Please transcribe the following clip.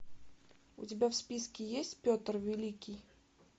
у тебя в списке есть петр великий